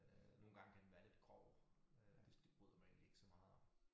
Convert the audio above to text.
Øh nogle gange kan den være lidt grov øh det det bryder jeg mig egentlig ikke så meget om